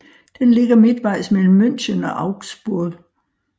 Den ligger midtvejs mellem München og Augsburg